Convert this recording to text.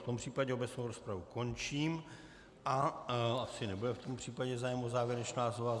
V tom případě obecnou rozpravu končím a asi nebude v tom případě zájem o závěrečná slova.